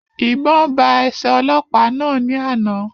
Ìbọn ba ẹsẹ ọlọ́pàá náà ní àna